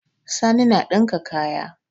Sani na ɗinka kaya.